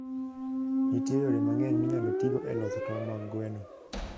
Nitie yore mang'eny minyalo tigo e loso tong' mag gwen.